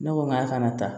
Ne ko n k'a kana taa